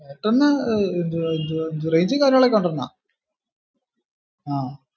എയർടെലിൻ എന്ത് എന്തുവാ എന്ത്‍വ range ഉം കാര്യങ്ങളൊക്കെ ഉണ്ടഅണ്ണാ